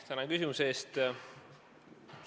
Tänan küsimuse eest!